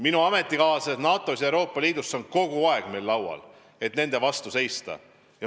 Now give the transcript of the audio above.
Minu ametikaaslastel NATO ja Euroopa Liidu riikides on see teema kogu aeg laual, selle vastu tuleb seista.